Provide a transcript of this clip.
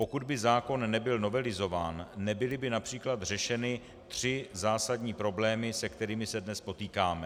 Pokud by zákon nebyl novelizován, nebyly by například řešeny tři zásadní problémy, se kterými se dnes potýkáme.